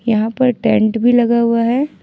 यहां पर टेंट भी लगा हुआ है।